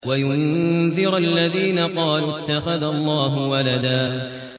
وَيُنذِرَ الَّذِينَ قَالُوا اتَّخَذَ اللَّهُ وَلَدًا